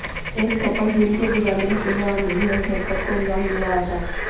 एक कपल दिन के उजाले में खुलेआम ही इस हरकत को अंजाम दे रहा था